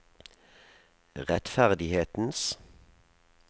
rettferdighetens